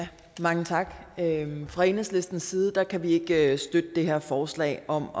mange tak fra enhedslistens side kan vi ikke støtte det her forslag om